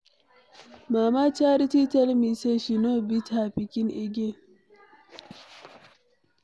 Mama charity tell me say she no beat her pikin again.